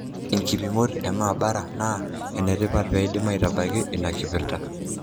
Nkipimot e maabara na enetipat pedim atabaki ina kipirta.